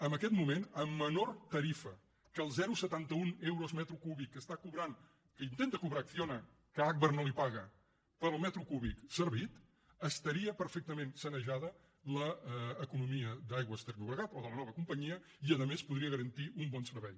en aquest moment amb menor tarifa que els zero coma setanta un euros metre cúbic que està cobrant que intenta cobrar acciona que agbar no li paga per al metre cúbic servit estaria perfectament sanejada l’economia d’aigües ter llobregat o de la nova companyia i a més podria garantir un bon servei